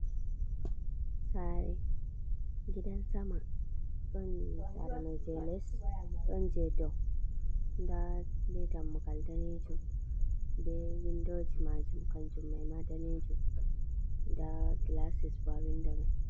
Saare, gidan sama, don saare man jei les, don jai dou, da don dam mugal man daneejum be windoji maajum kanjum mai ma daneejum da gilasis bo ha windo man.